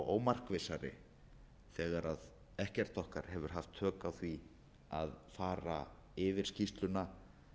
ómarkvissari þegar ekkert okkar hefur haft tök á því að fara yfir skýrsluna